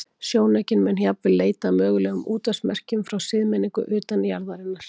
Sjónaukinn mun jafnvel leita að mögulegum útvarpsmerkjum frá siðmenningu utan jarðarinnar.